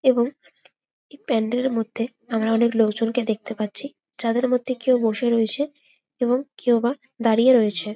এবং প্যান্ডেলের মর্ধে অনকে লোকজনকে দেখতে পারছি। তাদের মর্ধে কেউ বসে রয়েছে এবং কেউবা দাঁড়িয়ে রয়েছে।